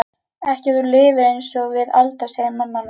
Ekki ef þú lifir einsog við Alda, segir mamma hennar.